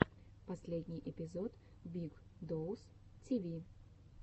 последний эпизод биг доус ти ви